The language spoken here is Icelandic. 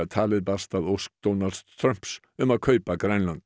talið barst að ósk Donalds Trumps um að kaupa Grænland